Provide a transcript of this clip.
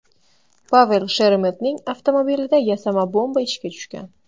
Pavel Sheremetning avtomobilida yasama bomba ishga tushgan.